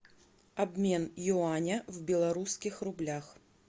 обмен юаня в белорусских рублях